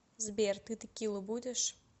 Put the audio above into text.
сбер ты текилу будешь